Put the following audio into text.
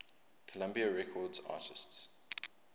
columbia records artists